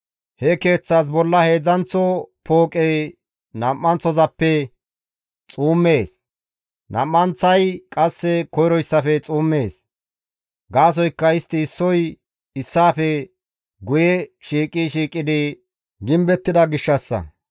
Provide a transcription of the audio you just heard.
He keeththas bolla heedzdzanththo pooqey nam7anththozappe xuummees; nam7anththay qasse koyroyssafe xuummees. Gaasoykka istti issoy issaafe guye shiiqi shiiqidi gimbettida gishshassa.